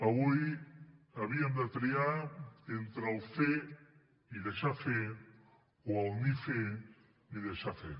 avui havíem de triar entre el fer i deixar fer o el ni fer ni deixar fer